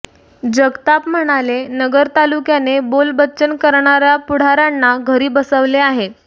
जगताप म्हणाले नगर तालुक्याने बोलबच्चन करणार्या पुढार्यांना घरी बसविले आहे